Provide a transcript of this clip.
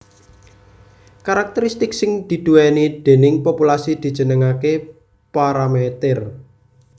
Karakteristik sing diduwèni déning populasi dijenengaké paramèter